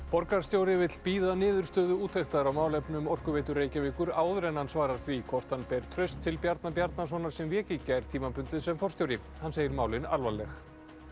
borgarstjóri vill bíða niðurstöðu úttektar á málefnum Orkuveitu Reykjavíkur áður en hann svarar því hvort hann ber traust til Bjarna Bjarnasonar sem vék í gær tímabundið sem forstjóri hann segir málin alvarleg wow